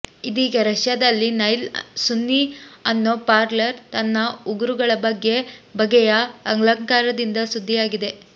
ಇದೀಗ ರಷ್ಯಾದಲ್ಲಿನೈಲ್ ಸುನ್ನಿ ಅನ್ನೋ ಪಾರ್ಲರ್ ತನ್ನ ಉಗುರುಗಳ ಬಗೆ ಬಗೆಯ ಅಲಂಕಾರದಿಂದ ಸುದ್ದಿಯಾಗಿದೆ